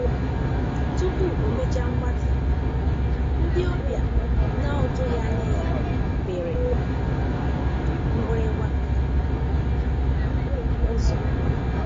Tupu omecha mgbatị, ndị ọbịa na-otughi anya ya piri um mgbirigba um ụ́zọ̀.